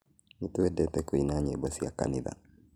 Nĩtũendete kũina nyĩmbo cia kanitha